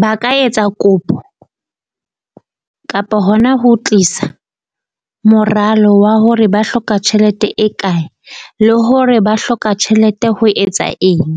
ba ka etsa kopo kapa hona ho tlisa moralo wa hore ba hloka tjhelete e kae. le hore ba hloka tjhelete ho etsa eng.